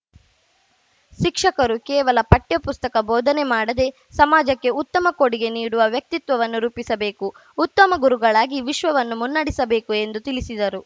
ಶಿಕ್ಷಕರು ಕೇವಲ ಪಠ್ಯ ಪುಸ್ತಕ ಬೋಧನೆ ಮಾಡದೆ ಸಮಾಜಕ್ಕೆ ಉತ್ತಮ ಕೊಡುಗೆ ನೀಡುವ ವ್ಯಕ್ತಿತ್ವವನ್ನು ರೂಪಿಸಬೇಕು ಉತ್ತಮ ಗುರುಗಳಾಗಿ ವಿಶ್ವವನ್ನು ಮುನ್ನಡೆಸಬೇಕು ಎಂದು ತಿಳಿಸಿದರು